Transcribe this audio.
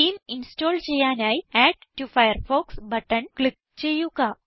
theme install ചെയ്യാനായി add to Firefox button click ചെയ്യുക